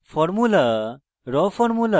formula